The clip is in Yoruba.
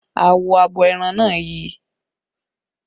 Awọ abo ẹran náà yi